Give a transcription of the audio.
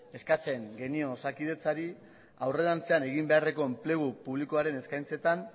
eskatzen genion osakidetzari aurrerantzean egin beharreko enplegu publikoaren eskaintzetan